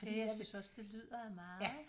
Ja jeg synes også det lyder af meget